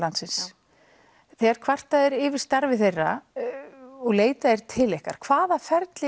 landsins þegar kvartað er yfir starfi þeirra og leitað er til ykkar hvaða ferli